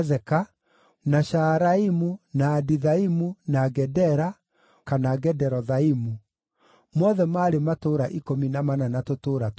na Shaaraimu, na Adithaimu, na Gedera (kana Gederothaimu); mothe maarĩ matũũra ikũmi na mana na tũtũũra twamo.